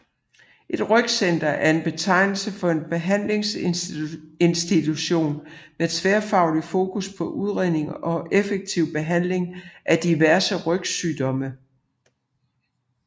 Et rygcenter er betegnelsen for en behandlinginstitution med tværfagligt fokus på udredning og effektiv behandling af diverse rygsygdomme